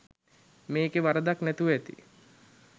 මෙකේ වරදක් නැතුව ඇති.